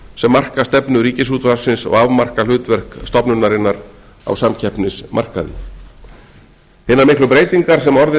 sem marka stefnu ríkisútvarpsins og afmarka hlutverk stofnunarinnar á samkeppnismarkaði hinar miklu breytingar sem orðið